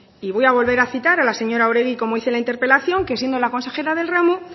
y voy a volver a citar a la señora oregi como hice en la interpelación que siendo la consejera del ramo